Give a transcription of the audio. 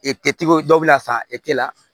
E tɛ dɔw bɛ na san e tɛ la